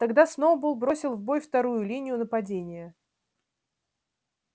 тогда сноуболл бросил в бой вторую линию нападения